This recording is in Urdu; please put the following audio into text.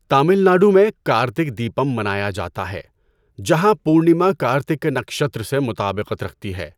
تامل ناڈو میں، کارتک دیپم منایا جاتا ہے جہاں پورنیما کرتّکا نکشتر سے مطابقت رکھتی ہے۔